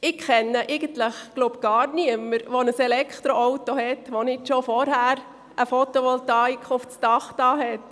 Ich kenne eigentlich niemanden, der ein Elektroauto besitzt und nicht schon vorher eine Fotovoltaikanlage auf seinem Dach montiert hat.